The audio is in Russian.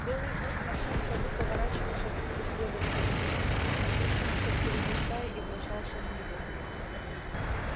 белый клык на всём ходу поворачивался к преследователю несущемуся впереди стаи и бросался на него